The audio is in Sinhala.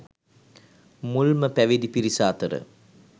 මුල්ම පැවිදි පිරිස අතර